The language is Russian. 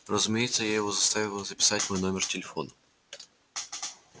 разумеется я его заставила записать мой номер телефон